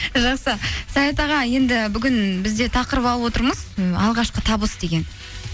жақсы саят аға енді бүгін біз де тақырып алып отырмыз ы алғашқы табыс деген